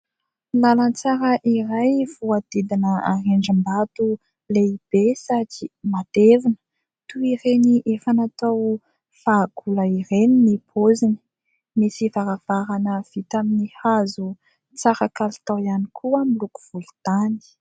Lalan-tsara iray voadidina rindrim-bato lehibe satria matevina toy ireny efa natao fahagola ireny ny paoziny. Misy varavarana vita amin'ny hazo tsara kalitao ihany koa ; miloko volontany.